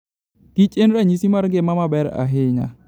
kich en ranyisi mar ngima maber ahinya.